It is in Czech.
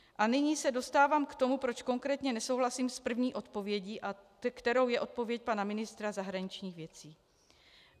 A nyní se dostávám k tomu, proč konkrétně nesouhlasím s první odpovědí, kterou je odpověď pana ministra zahraničních věcí.